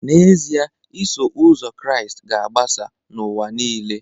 N’ezie, Iso Ụzọ Kraịst ga-agbasa n’ụwa nile